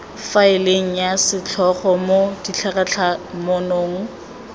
faeleng ya setlhogo mo ditlhatlhamanong